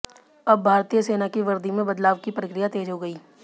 अब भारतीय सेना की वर्दी में बदलाव की प्रक्रिया तेज हो गई